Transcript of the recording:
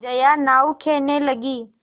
जया नाव खेने लगी